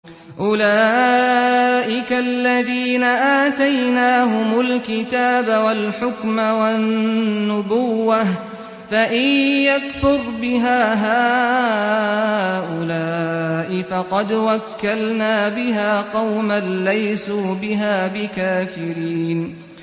أُولَٰئِكَ الَّذِينَ آتَيْنَاهُمُ الْكِتَابَ وَالْحُكْمَ وَالنُّبُوَّةَ ۚ فَإِن يَكْفُرْ بِهَا هَٰؤُلَاءِ فَقَدْ وَكَّلْنَا بِهَا قَوْمًا لَّيْسُوا بِهَا بِكَافِرِينَ